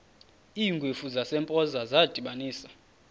iingwevu zasempoza zadibanisana